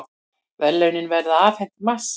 Verðlaunin verða afhent í mars